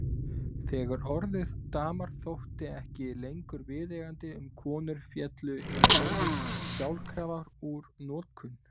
Þegar orðið dama þótti ekki lengur viðeigandi um konur féllu hin orðin sjálfkrafa úr notkun.